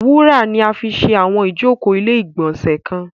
Wúrà fi ṣe àwọn ìjókòó ilé-ìgbọ̀nsẹ̀ kan.